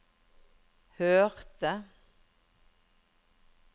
hørte